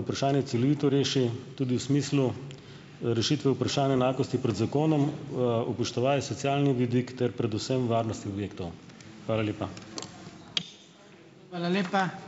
vprašanje celovito reši - tudi v smislu rešitve vprašanja enakosti pred zakonom, upoštevaje socialni vidik ter predvsem varnosti objektov. Hvala lepa.